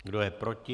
Kdo je proti?